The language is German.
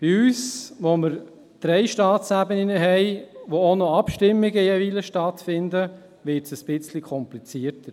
Bei uns, wo wir drei Staatsebenen haben und jeweils auch noch Abstimmungen stattfinden, wird es ein bisschen komplizierter.